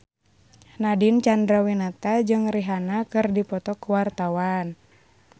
Nadine Chandrawinata jeung Rihanna keur dipoto ku wartawan